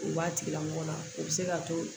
U b'a tigilamɔgɔ la u bɛ se k'a to